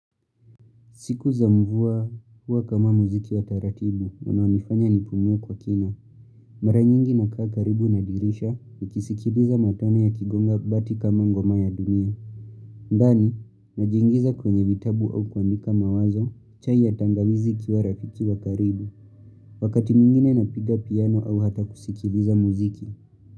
Siku za mvuwa huwa kama muziki wa taratibu, wanawanifanya nipumwe kwa kina. Mara nyingi na kaa karibu nadirisha, ukisikibiza matone ya kigonga bati kama ngomaya dunia. Ndani, najingiza kwenye vitabu au kuandika mawazo, chai ya tangawizi kiwa rafiki wa karibu, wakati mingine napiga piano au hata kusikiliza muziki.